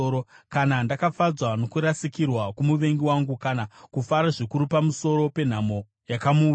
“Kana ndakafadzwa nokurasikirwa kwomuvengi wangu, kana kufara zvikuru pamusoro penhamo yakamuwira,